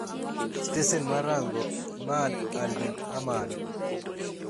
Stesen mar rango, Imad al din Ahmad,